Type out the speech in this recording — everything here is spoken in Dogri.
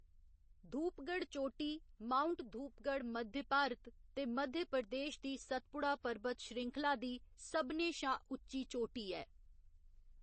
धूपगढ़ चोटी, माउंट धूपगढ़ मध्य भारत ते मध्य प्रदेश दी सतपुड़ा परबत श्रृंखला दी सभनें शा उच्ची चोटी ऐ।